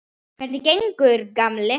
Hvernig gengur, gamli